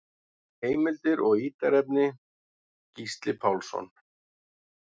Heimildir og ítarefni: Gísli Pálsson.